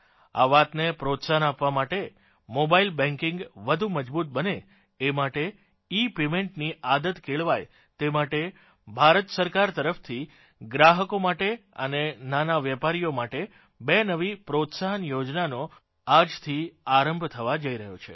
આ વાતને પ્રોત્સાહન આપવા માટે મોબાઇલ બેંકીંગ વધુ મજબૂત બને એ માટે ઇપેમેન્ટ ની આદત કેળવાય તે માટે ભારત સરકાર તરફથી ગ્રાહકો માટે અને નાના વેપારીઓ માટે બે નવી પ્રોત્સાહન યોજનાનો આજથી આરંભ થવા જઇ રહ્યો છે